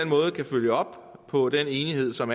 måde kan følge op på den enighed som